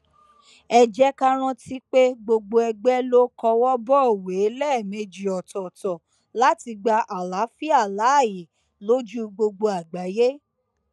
ẹ jẹ ká rántí pé gbogbo ègbé ló kọwọ bọwé lẹẹmejì ọtọọtọ láti gba àlàáfíà láàyè lójú gbogbo àgbáyé